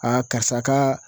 karisa ka